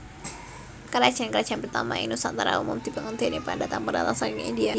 Karajan karajan pertama ing Nusantara umum dibangun déning pendatang pendatang saking India